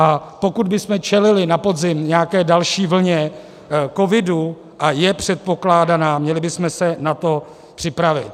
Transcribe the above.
A pokud bychom čelili na podzim nějaké další vlně covidu - a je předpokládaná - měli bychom se na to připravit.